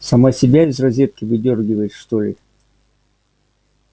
сама себя из розетки выдёргивает что ли